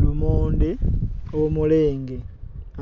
Lumonde omulenge,